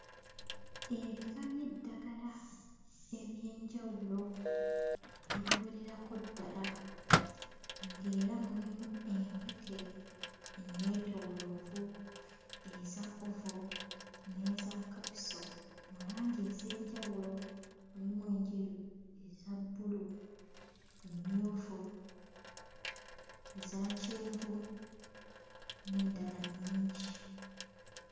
Ebika by'eddagala eby'enjawulo ebiwererako ddala ng'era mulimu empeke enneetooloovu, eza oval n'eza capsule mu langi ez'enjawulo, mulimu enjeru, eza bbulu, emmyufu, eza kyenvu, n'endala nnyingi.